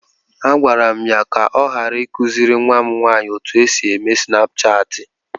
Agwara m ya ka ọ ghara ịkụziri nwa m nwanyị otú e si eme snapchaatị.